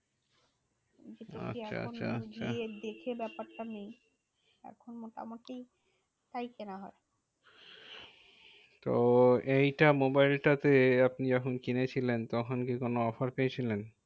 আচ্ছা আচ্ছা আচ্ছা এখন গিয়ে দেখে ব্যাপারটা নেই। এখন মোটামুটি কেনা হয়। তো এইটা মোবাইল টা তে আপনি যখন কিনেছিলেন, তখন কি কোনো offer পেয়েছিলেন?